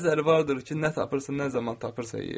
Bəziləri vardır ki, nə tapırsan, nə zaman tapırsan yeyir.